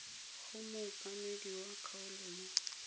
go mookamedi wa kgaolo mo